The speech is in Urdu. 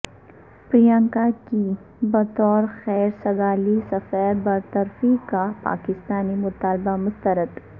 پریانکا کی بطور خیر سگالی سفیر برطرفی کا پاکستانی مطالبہ مسترد